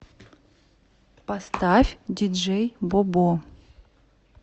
поставь диджей бобо